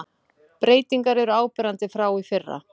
Breytingar eru áberandi frá í fyrra